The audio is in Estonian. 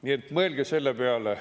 Nii et mõelge selle peale.